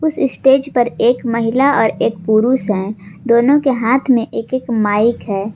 इस स्टेज पर एक महिला और एक पुरुष है दोनों के हाथ में एक एक माइक है।